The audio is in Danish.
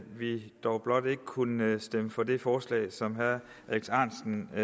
vi dog blot ikke kunne stemme for det forslag som herre alex ahrendtsen og